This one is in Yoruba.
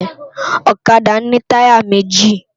Òkàdá ni tàyá méji